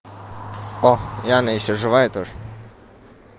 о яна ещё живая тоже